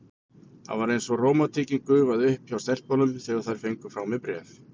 Það var eins og rómantíkin gufaði upp hjá stelpunum, þegar þær fengu frá mér bréfin.